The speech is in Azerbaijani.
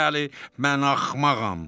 Bəli, mən axmağam.